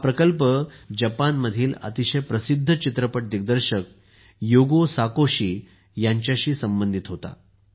हा प्रकल्प जपानमधील अतिशय प्रसिद्ध चित्रपट दिग्दर्शक युगो साकोशी ह्यांच्याशी संबंधित होता